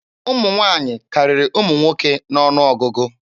Ụmụ nwaanyị karịrị ụmụ nwoke n'ọnụ ọgụgụ.